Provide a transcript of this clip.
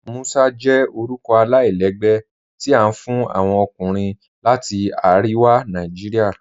Musa jẹ orúkọ alailẹgbẹ́ tí a fún awọn ọkùnrin láti Ariwa Naijiria.